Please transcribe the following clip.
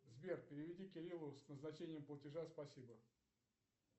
сбер переведи кириллу с назначением платежа спасибо